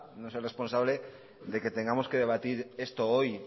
no es el responsable de que tengamos que debatir esto hoy